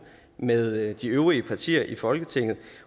med de øvrige partier i folketinget